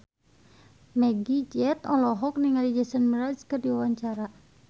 Meggie Z olohok ningali Jason Mraz keur diwawancara